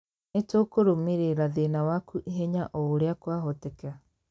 Nĩ tũkũrũmĩrĩra thĩna waku ihenya o ũrĩa kwahoteka.